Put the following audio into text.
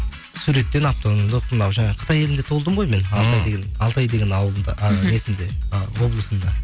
суреттен мынау жаңа қытай елінде туылдым ғой мен алтай деген ауылында ы несінде ы облысында